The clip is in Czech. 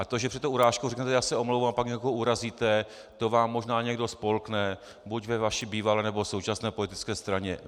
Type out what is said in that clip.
A to, že před tou urážkou řeknete "já se omlouvám", a pak někoho urazíte, to vám možná někdo spolkne buď ve vaší bývalé, nebo současné politické straně.